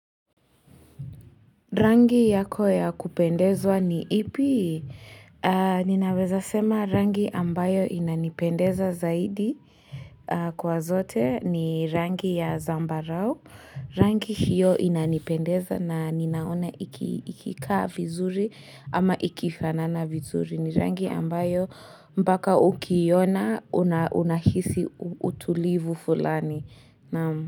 Rangi yako ya kupendezwa ni ipi? Ninaweza sema rangi ambayo inanipendeza zaidi kwa zote ni rangi ya zamba rao. Rangi hiyo inanipendeza na ninaona ikika vizuri ama ikifanana vizuri ni rangi ambayo mbaka ukiiyona unahisi utulivu fulani.